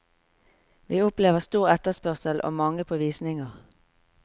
Vi opplever stor etterspørsel og mange på visninger.